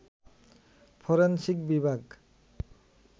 forensic বিভাগ